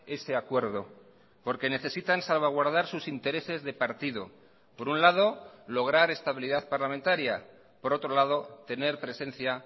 ese acuerdo porque necesitan salvaguardar sus intereses de partido por un lado lograr estabilidad parlamentaria por otro lado tener presencia